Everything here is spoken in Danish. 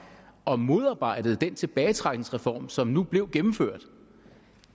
og modarbejdede den tilbagetrækningsreform som nu blev gennemført